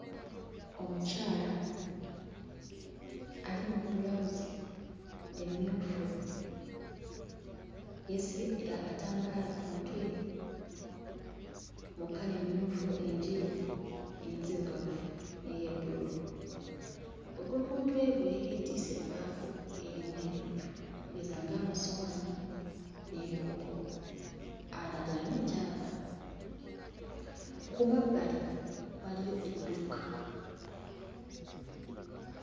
Omukyala ali mu bbulawuzi emmyufu yeesibye eh akatambaala ku mutwe mu kkala emmyufu, enjeru, enzirugavu n'eya bbululu. Okuva ku mutwe gwe yeetisse ebbaafu erimu ebintu okugeza ng'amasowaani n'ebikopo, alaga ayina gy'ava. Ku mabbali waliyo edduuka.